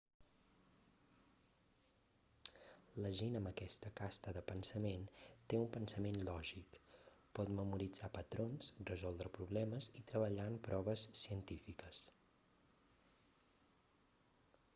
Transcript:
la gent amb aquesta casta de pensament té un pensament lògic pot memoritzar patrons resoldre problemes i treballar en proves científiques